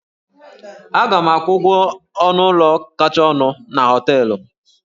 Aga m akwụ ụgwọ ọnụ ụlọ kacha ọnụ na hóteélụ̀